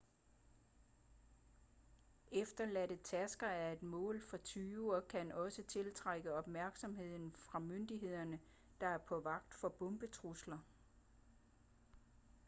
efterladte tasker er et mål for tyve og kan også tiltrække opmærksomhed fra myndigheder der er på vagt for bombetrusler